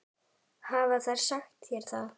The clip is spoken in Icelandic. Hafa þeir sagt þér það?